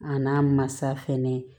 A n'a masa fɛnɛ